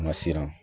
An ka siran